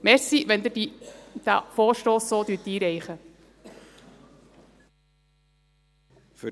Ich danke Ihnen, wenn Sie diesen Vorstoss so einreichen.